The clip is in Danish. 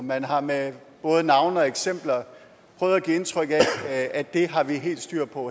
man har med både navne og eksempler prøvet at give indtryk af at det har man helt styr på